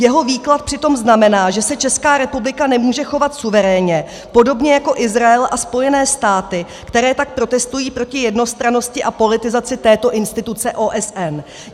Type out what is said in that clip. Jeho výklad přitom znamená, že se Česká republika nemůže chovat suverénně, podobně jako Izrael a Spojené státy, které tak protestují proti jednostrannosti a politizaci této instituce OSN.